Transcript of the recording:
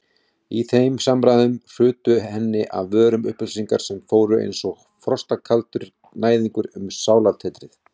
Í þeim samræðum hrutu henni af vörum upplýsingar sem fóru einsog frostkaldur næðingur um sálartetrið.